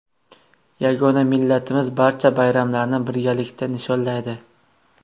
Yagona millatimiz barcha bayramlarni birgalikda nishonlaydi.